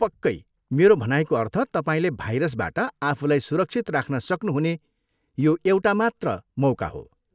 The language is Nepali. पक्कै, मेरो भनाइको अर्थ, तपाईँले भाइरसबाट आफूलाई सुरक्षित राख्न सक्नुहुने यो एउटा मात्र मौका हो।